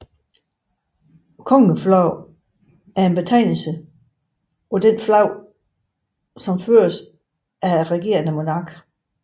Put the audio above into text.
Kongeflag er en betegnelse på det flag som føres af regerende monark